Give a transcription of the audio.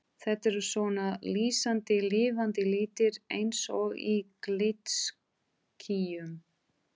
Þetta eru svona lýsandi lifandi litir eins og í glitskýjum.